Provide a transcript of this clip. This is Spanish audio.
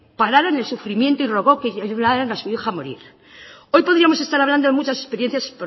pararan el sufrimiento y rogó que ayudaran a su hija morir hoy podríamos estar hablando de muchas experiencias